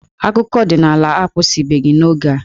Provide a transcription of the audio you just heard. Akụkọ ọdịnala akwụsịbeghị n'oge a.